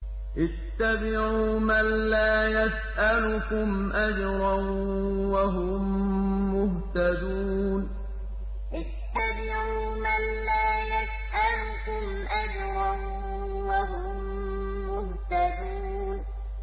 اتَّبِعُوا مَن لَّا يَسْأَلُكُمْ أَجْرًا وَهُم مُّهْتَدُونَ اتَّبِعُوا مَن لَّا يَسْأَلُكُمْ أَجْرًا وَهُم مُّهْتَدُونَ